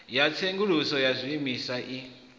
ya tsenguluso ya zwiimiswa i